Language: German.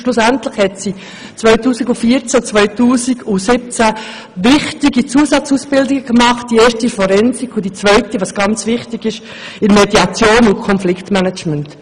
Schlussendlich hat sie 2014 und 2017 wichtige Zusatzausbildungen absolviert, zuerst im Bereich Forensik und anschliessend – was sehr wichtig ist – in Mediation und Konfliktmanagement.